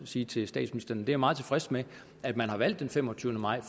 sige til statsministeren at jeg er meget tilfreds med at man har valgt den femogtyvende maj